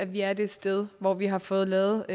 vi er det sted hvor vi har fået lavet